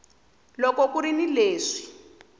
loko ku ri ni leswi